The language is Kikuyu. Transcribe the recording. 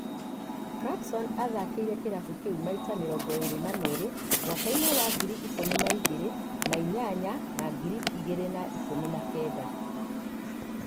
Clarkson aathakĩire kĩlafu kĩu maita mĩrongo ĩĩrĩ na merĩ mwaka-inĩ wa ngiri igĩrĩ na ikũmi na inyanya na ngiri igĩrĩ na ikũmi na kenda.